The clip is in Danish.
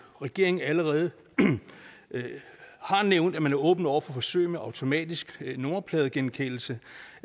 regeringen allerede har nævnt at man er åben over for forsøg med automatisk nummerpladegenkendelse